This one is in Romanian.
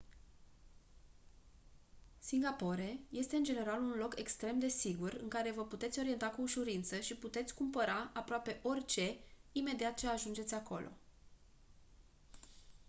singapore este în general un loc extrem de sigur în care vă puteți orienta cu ușurință și puteți cumpăra aproape orice imediat ce ajungeți acolo